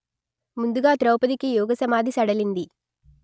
ముందుగా ద్రౌపదికి యోగసమాధి సడలింది